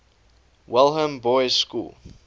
welham boys school